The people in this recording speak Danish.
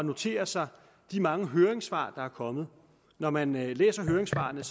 notere sig de mange høringssvar der er kommet når man læser høringssvarene